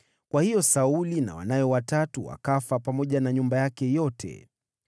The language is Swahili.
Kwa hiyo Sauli na wanawe watatu wakafa, pamoja na nyumba yake yote.